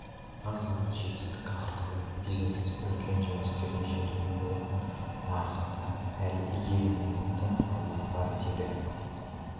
ғана жетістік арқылы бизнесте үлкен жеңістерге жетуге болатын нарықта әлі игерілмеген тың салалар бар деді